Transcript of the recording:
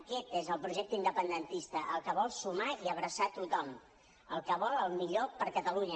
aquest és el projecte independentista el que vol sumar i abraçar tothom el que vol el millor per a catalunya